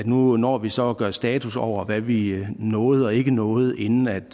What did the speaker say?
nu når vi så at gøre status over hvad vi nåede og ikke nåede inden den